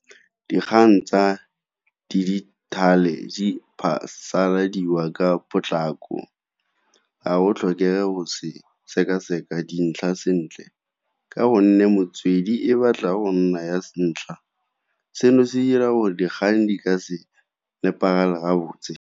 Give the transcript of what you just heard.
Dikgang tsa dijithale di phasaladiwa ka potlako, ga go tlhokege go se seka-seka dintlha sentle ka gonne motswedi e batla go nna ya se ntlha. Seno se dira gore dikgang di ka se nepagale gabotse.